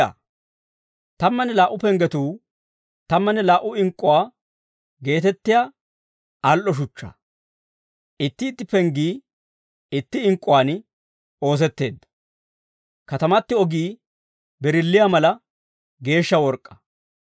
Tammanne laa"u penggetuu tammanne laa"u ink'k'uwaa geetettiyaa al"o shuchchaa; itti itti penggii itti ink'k'uwaan oosetteedda. Katamati ogii birilliyaa mala geeshsha work'k'aa.